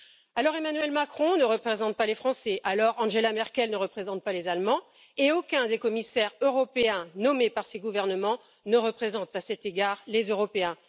Alors, Emmanuel Macron ne représente pas les Français, alors, Angela Merkel ne représente pas les Allemands, et aucun des commissaires européens nommés par ces gouvernements ne représente, à cet égard, les Européens.